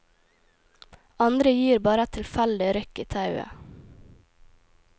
Andre gir bare et tilfeldig rykk i tauet.